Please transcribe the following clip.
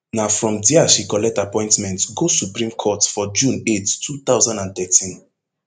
na from dia she collect appointment go supreme court for june eight two thousand and thirteen